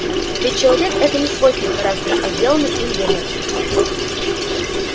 ведь человек это не свойство характера а сделанный им выбор